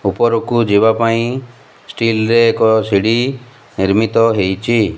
ଉପରକୁ ଯିବା ପାଇଁ ଷ୍ଟିଲ ର ଏକ ସିଡ଼ି ନିର୍ମିତ ହେଇଛି।